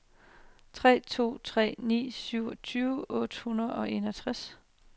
tre to tre ni syvogtyve otte hundrede og enogtres